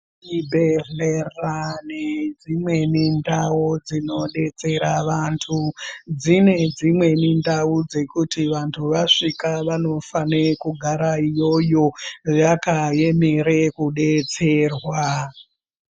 Chibhedhlera nedzimweni ndau dzinodetsera vantu dzine dzimweni ndau dzekuti vantu vasvika vanofanira kugara iyoyo vakaemere kudetserwa.